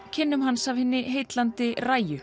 kynnum hans af hinni heillandi